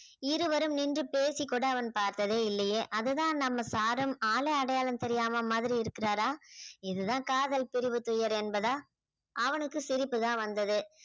இருவரும் நின்று பேசிக் கூட அவன் பார்த்ததே இல்லையே அதுதான் நம்ம sir உம் ஆளே அடையாளம் தெரியாத மாதிரி இருக்கிறாரா இதுதான் காதல் பிரிவு துயர் என்பதா அவனுக்கு சிரிப்புதான் வந்தது